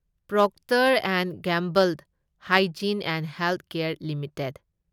Procter and Gamble Hygiene and Health Care limited